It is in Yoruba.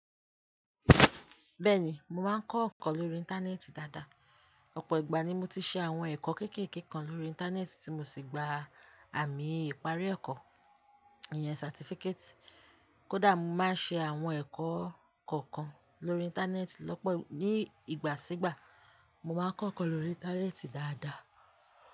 Bẹ́ẹ̀ ni, mo máa ń kọ́ nkọ́n lórí Íńtánẹ́ẹ̀tì dáadáa. Ọ̀pọ̀ ìgbà ni mo ti ṣe àwọn ẹ̀kọ́ kékèké kan lórí Íńtánẹ́ẹ̀tì tí mo sì gba àmì ìparí ẹ̀kọ́, ìyẹn certificate. Kódà mo máa ń ṣe àwọn ẹ̀kọ́ kọ̀ọ̀kan lórí Íńtánẹ́ẹ̀tì lọ́pọ̀ ní ìgbà sígbà, mo máa ń kọ́ ẹ̀kọ́ lórí Íńtánẹ́ẹ̀tì dáadáa.